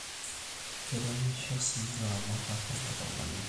Kerimisho siii ilaramatak tenkata olameyu